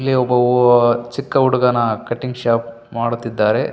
ಇಲ್ಲಿ ಒಬ್ಬ ಓ ಚಿಕ್ಕ ಹುಡುಗನ ಕಟ್ಟಿಂಗ್ ಶೋಪ್ ಮಾಡುತ್ತಿದ್ದಾರೆ.